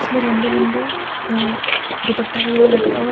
लंबे लंबे अ दुपट्टा वगैरा लटका हुआ--